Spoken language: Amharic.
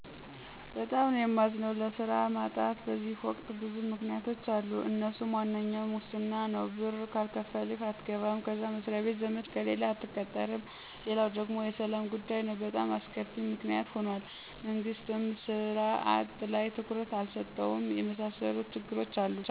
በጣም ነዉ የማዝነዉ። ለስራ ማጣት በዚህ ወቅት ብዙ ምክንያቶች አሉ አነሱም፦ ዋነኛው ሙስና ነው ብር ካልከፈልህ አትገባም፣ ከዛ መስሪያ ቤት ዘመድ ከሌለህ አትቀጠርም፣ ሌላው ደግሞ የሰላም ጉዳይ በጣም አስከፊ ምክንያት ሁኗል፤ መንግስትም ሥራ አጥ ላይ ትኩረት አልሰጠውም። የመሣሠሉ ችግሮች አሉ